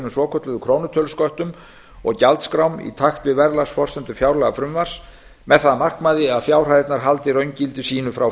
svokölluðu krónutölusköttum og gjaldskrám í takt við verðlagsforsendur fjárlagafrumvarps með það að markmiði að fjárhæðirnar haldi raungildi sínu frá